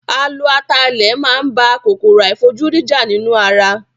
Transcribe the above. A lo atalẹ̀ máa ń bá kòkòrò àìfojúrí jà nínú ara